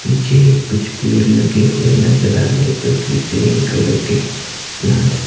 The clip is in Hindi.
पीछे कुछ पेड़ लगे हुए नजर आ रहे हैं जो की ग्रीन कलर के प्लांट्स --